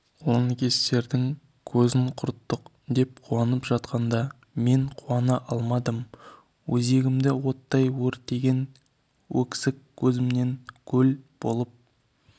лаңкестердің көзін құрттық деп қуанып жатқанда мен қуана алмадым өзегімді оттай өртеген өксік көзімнен көл болып